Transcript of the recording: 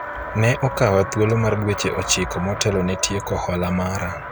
ne okawa thuolo mar dweche ochiko motelo ne tieko hola mara